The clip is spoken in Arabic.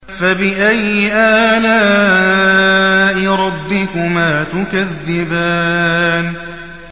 فَبِأَيِّ آلَاءِ رَبِّكُمَا تُكَذِّبَانِ